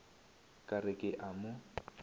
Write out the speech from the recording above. ka re ke a mo